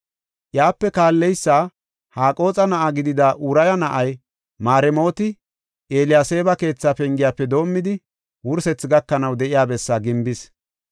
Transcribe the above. Iyape kaalleysa Haqooxa na7aa gidida Uraya na7ay Maremooti Eliyaseeba keetha pengiyafe doomidi, wursethi gakanaw de7iya bessaa gimbis.